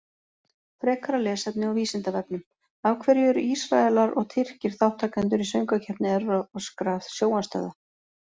Frekara lesefni á Vísindavefnum Af hverju eru Ísraelar og Tyrkir þátttakendur í Söngvakeppni evrópskra sjónvarpsstöðva?